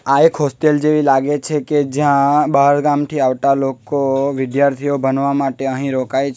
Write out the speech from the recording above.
આ એક હોસ્ટેલ જેવી લાગે છે કે જ્યાં બહારગામ થી આવતા લોકો વિદ્યાર્થીઓ બનવા માટે અહીં રોકાઈ --